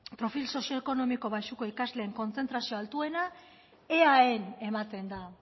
profil sozioekonomiko baxuko ikasleen kontzentrazio altuena eaen ematen da